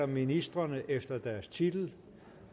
ministrene efter deres titel